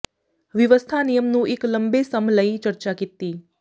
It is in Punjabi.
ਵਿਵਸਥਾ ਨਿਯਮ ਨੂੰ ਇੱਕ ਲੰਬੇ ਸਮ ਲਈ ਚਰਚਾ ਕੀਤੀ